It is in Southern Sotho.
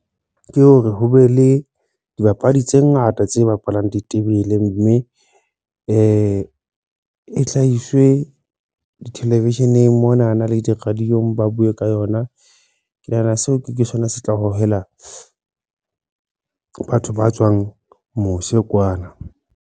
Ke hore ho be le dibapadi tse ngata tse bapalang ditebele mme e e hlahiswe dithelevisheneng mona na le di-radio-ng ba buwe ka yona ke nahana seo ke sona se tla hohela batho ba tswang mose kwana.